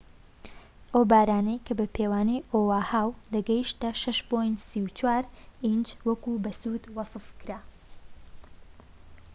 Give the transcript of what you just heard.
ئەو بارانەی کە بە پێوانەی ئۆاهاو دەگەیشتە 6.34 ئینج وەک بەسوود وەسفکرا